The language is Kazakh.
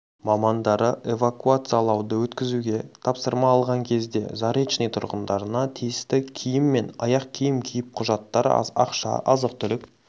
мамандары эвакуациялауды өткізуге тапсырма алған кезде заречный тұрғындарына тиісті киім мен аяқ-киім киіп құжаттар ақша азық-түлік